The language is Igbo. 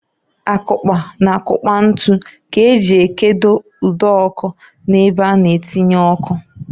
Akụkpa na akukpa ntu k'eji ekedo ụd'ọkụ n'ebe a na-atinye ọkụ.